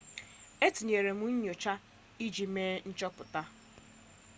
e tinyere nnyocha iji mee nchọpụta